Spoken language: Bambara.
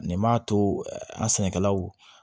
Nin m'a to an ka sɛnɛkɛlaw